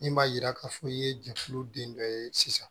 Min b'a yira k'a fɔ i ye jɛkulu den dɔ ye sisan